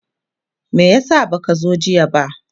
me yasa baka zo jiya ba?